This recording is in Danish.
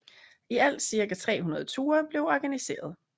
I alt ca 300 ture blev organiseret